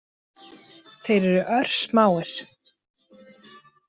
Þeir eru örsmáir.